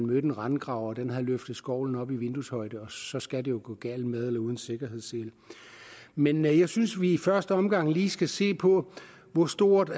mødte en rendegraver og den havde løftet skovlen op i vindueshøjde så skal det jo gå galt med eller uden sikkerhedssele men jeg synes vi i første omgang lige skal se på hvor stort